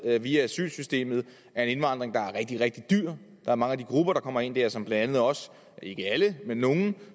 via asylsystemet er en indvandring der er rigtig rigtig dyr der er mange af de grupper der kommer ind dér som blandt andet også ikke alle men nogle